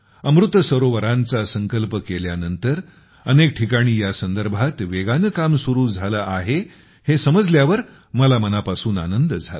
अमृत सरोवरांचा संकल्प केल्यानंतर अनेक ठिकाणी यासंदर्भात वेगाने काम सुरू झाले आहे हे समजल्यावर मला मनापासून आनंद झाला